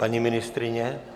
Paní ministryně?